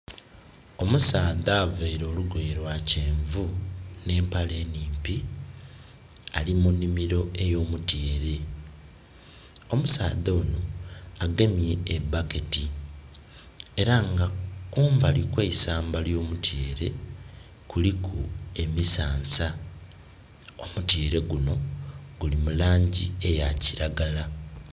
Omusaadha availe olugoye lwa kyenvu nh'empale enimpi ali mu nhimiro ey'omutyeere. Omusaadha onho agemye a bucket, era nga kumbali kw'eisamba ly'omutyeere kuliku emisansa. Omutyeere guno guli mu laangi eya kiragala.